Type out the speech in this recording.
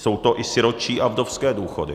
Jsou to i sirotčí a vdovské důchody.